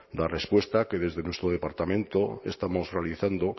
la respuesta que desde nuestro departamento estamos realizando